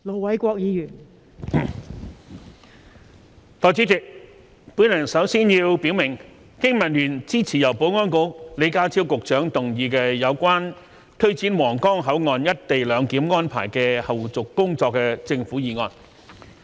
代理主席，我首先要表明，經民聯支持由保安局李家超局長動議有關推展皇崗口岸"一地兩檢"安排的後續工作的政府議案。